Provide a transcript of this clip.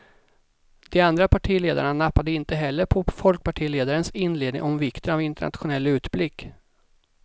De andra partiledarna nappade inte heller på folkpartiledarens inledning om vikten av internationell utblick.